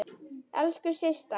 Elsku Systa!